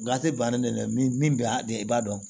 Gafe bannen dɛ min bɛ a de i b'a dɔn